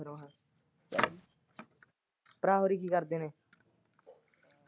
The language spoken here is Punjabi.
ਭਰਾ ਹੋਰੀ ਕੀ ਕਰਦੇ ਨੇ?